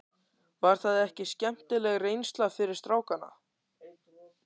Var það ekki skemmtileg reynsla fyrir strákana?